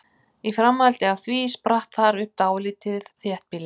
Í framhaldi af því spratt þar upp dálítið þéttbýli.